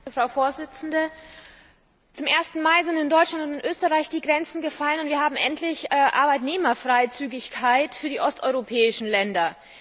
Frau Präsidentin! Zum ersten Mal sind in Deutschland und in Österreich die Grenzen gefallen, und wir haben endlich Arbeitnehmerfreizügigkeit für die osteuropäischen Länder.